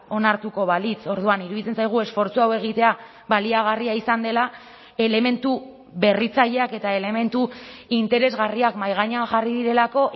onartuko balitz orduan iruditzen zaigu esfortzu hau egitea baliagarria izan dela elementu berritzaileak eta elementu interesgarriak mahai gainean jarri direlako